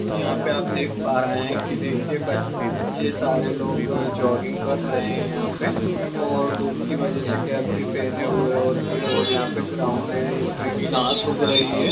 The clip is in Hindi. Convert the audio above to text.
यहां पे आप देख पा रहे है कि देखिये ब ये सारे लोग जोगिंग कर रहे है यहां पे और धूप की वजह से केप भी पहने हुए है और यहां पे एक ग्राउंड है जिसमे कि घास उग रही है।